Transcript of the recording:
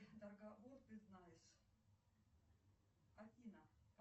поставь пожалуйста себе напоминание выключиться через час